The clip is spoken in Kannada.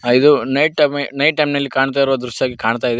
ಐದು ನೈಟ್ ಟೈಮ್ ನೈಟ್ ಟೈಮ್ ನಲ್ಲಿ ಕಾಣ್ತಾ ಇರೋ ದೃಶ್ಯ ಆಗಿ ಕಾಣ್ತಾ ಇದೆ.